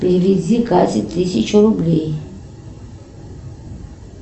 переведи кате тысячу рублей